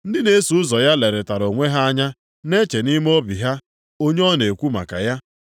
Ndị na-eso ụzọ ya lerịtara onwe ha anya na-eche nʼime obi ha onye ọ na-ekwu maka ya.